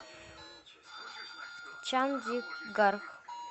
чандигарх